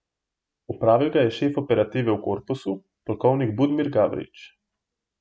Opravil ga je šef operative v korpusu, polkovnik Budimir Gavrič.